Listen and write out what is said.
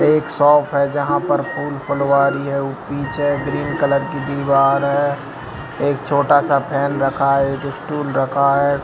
एक शॉप है जहां पर फूल फुलवारी है पीछे ग्रीन कलर की दीवार है एक छोटा-सा फैन रखा है जो स्टूल रखा है --